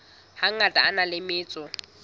hangata a na le metso